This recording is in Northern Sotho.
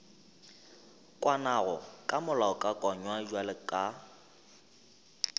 kwanago ka molaokakanywa bjalo ka